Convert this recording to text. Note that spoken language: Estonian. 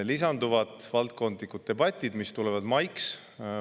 Lisanduvad valdkondlikud debatid, mis tulevad mais.